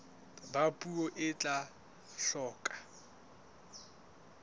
ba puo e tla hloka